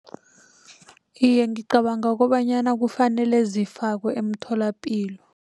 Iye, ngicabanga kobanyana kufanele zifakwe emtholapilo.